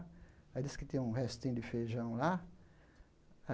Aí diz que tinha um restinho de feijão lá.